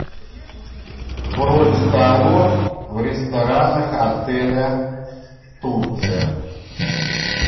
бронь столов в ресторанах отеля турция